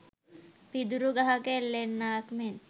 පිදුරු ගහක එල්ලෙන්නාක් මෙන්